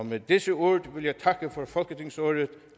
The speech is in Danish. med disse ord vil jeg takke for folketingsåret